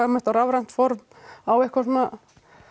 á rafrænt form á eitthvað svona